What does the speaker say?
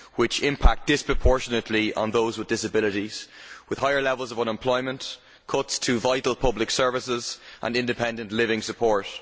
Such policies have a disproportionate impact on those with disabilities, with higher levels of unemployment, cuts to vital public services and independent living support.